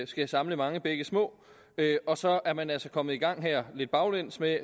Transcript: skal samle mange bække små og så er man altså kommet i gang her lidt baglæns med at